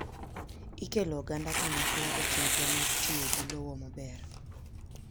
Ikelo oganda kanyakla echenro mag tiyo gi lowo maber.